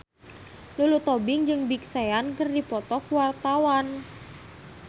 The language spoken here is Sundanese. Lulu Tobing jeung Big Sean keur dipoto ku wartawan